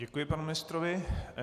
Děkuji panu ministrovi.